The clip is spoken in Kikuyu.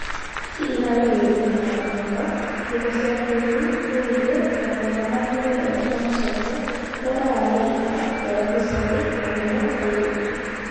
Ici irari gũĩkenia na mathomo, thimũ cia kĩĩrĩu, rendio, mathomo ma kũigua thauti ya macokio, ndora ya Amerika, Terebiceni) na mũno airĩtu